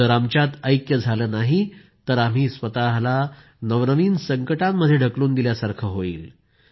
जर आमच्यात ऐक्य झालं नाही तर आपण स्वतःला नवनवीन संकटांमध्ये ढकलून दिल्यासारखं होईल